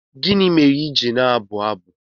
Gịnị mere i ji na-abụ abụ?